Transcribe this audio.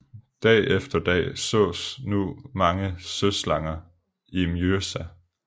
Dag efter dag sås nu mange søslanger i Mjøsa